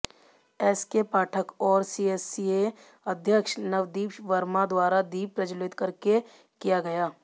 SK Pathak और CSCA अध्यक्ष नवदीप वर्मा द्वारा दीप प्रज्वलित करके किया गया